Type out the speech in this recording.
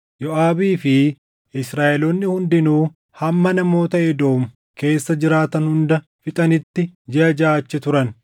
Yooʼaabii fi Israaʼeloonni hundinuu hamma namoota Edoom keessa jiraatan hunda fixanitti jiʼa jaʼa achi turan.